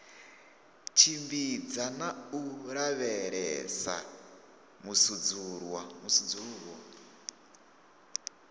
tshimbidza na u lavhelesa musudzuluwo